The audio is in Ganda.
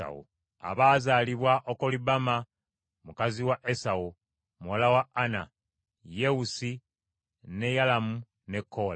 Abaazaalibwa Okolibama mukazi wa Esawu, muwala wa Ana: Yewusi, ne Yalamu ne Koola.